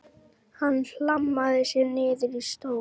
Hann hlammaði sér niður í stól.